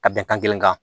Ka bɛnkan kelen kan